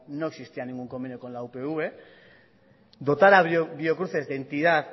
no existía ningún convenio con la upv dotar a biocruces de entidad